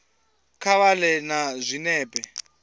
kha vha ḓe na zwinepe